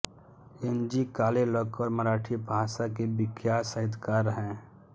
N G Kalelkar Marathi भाषा के विख्यात साहित्यकार हैं